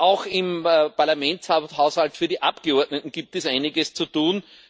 Auch im Parlamentshaushalt für die Abgeordneten gibt es einiges zu tun.